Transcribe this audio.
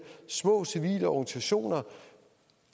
små civile organisationer